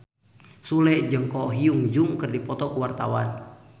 Sule jeung Ko Hyun Jung keur dipoto ku wartawan